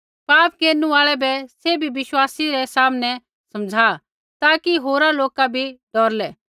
पाप केरनु आल़ै बै सैभी विश्वासी रै सामनै समझ़ा ताकि होरा लोका भी डौरलै